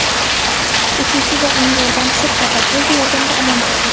Uchuvchi va uning yordamchisi katapulta yordamida omon qolgan.